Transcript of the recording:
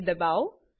ને દબાઓ